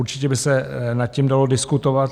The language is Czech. Určitě by se nad tím dalo diskutovat.